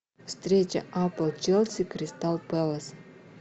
встреча апл челси кристал пэлас